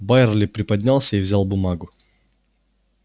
байерли приподнялся и взял бумагу